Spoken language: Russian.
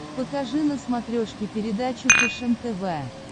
покажи на смотрешке передачу фэшен тв